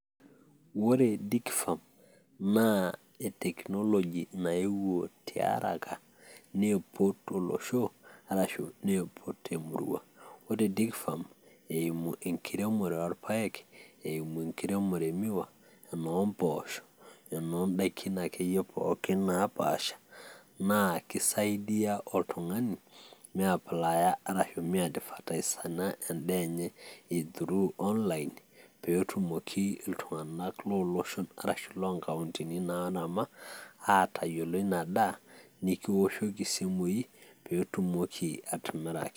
Oree Digi farm naa etekinologi naewuo taharaka neepo to losho arashu neepo to murrua, ore Digi farm eimu enkiremore oolpayek, eimu enkiremore emiwa ,enoombosho eimu indaki ake iye pookin napaasha naa keisaidiya oltungani meeaplaaya arashu meeadvaitasana endaaa enye through online peetumoki ltungana loo loshon arashu loo nkauntini naalama aatayolo inadaa nikioshoki simuii piitumoki atimiraki.